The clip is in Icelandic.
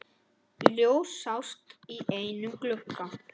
Ljós sást í einum glugga.